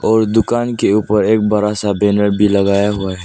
और दुकान के ऊपर एक बड़ा सा बैनर भी लगाया हुआ है।